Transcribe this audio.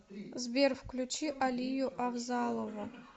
сбер включи алию авзалову